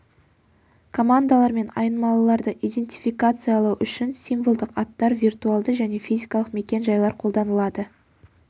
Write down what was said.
командалар мен айнымалыларды идентификациялау үшін символдық аттар виртуалды және физикалық мекен-жайлар қолданылады